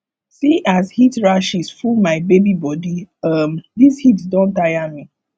see as heat rashes full my baby bodi um dis heat don tire me